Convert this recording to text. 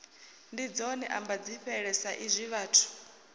ndi dzone ambadzifhele saizwi vhathu